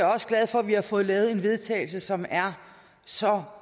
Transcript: også glad for at vi har fået lavet et vedtagelse som er så